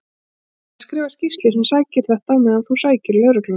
Ég ætla að skrifa skýrslu um þetta á meðan þú sækir lögregluna.